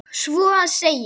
Svo að segja.